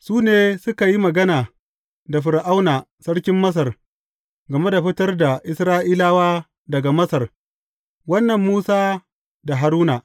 Su ne suka yi magana da Fir’auna sarkin Masar game da fitar da Isra’ilawa daga Masar, wannan Musa da Haruna.